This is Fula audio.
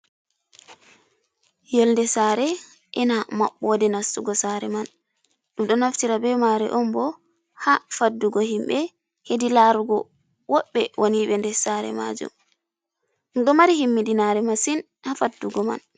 Yonde sare ena maɓɓode nastugo sare man. Ɗum ɗo naftira be mare on bo ha faddugo himɓe hedi larugo woɓɓe won ɓe nder sare majum. Ɗum ɗo mari himmidinare masin ha faddugo man.